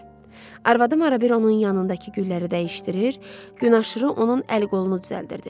Arvadım arabir onun yanındakı gülləri dəyişdirir, gün aşırı onun əl-qolunu düzəldirdi.